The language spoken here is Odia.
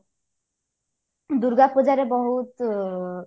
ଦୂର୍ଗାପୂଜାରେ ରେ ବହୁତ